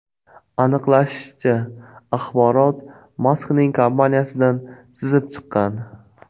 Aniqlanishicha, axborot Maskning kompaniyasidan sizib chiqqan.